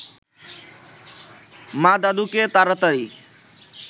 মা দাদুকে তাড়াতাড়ি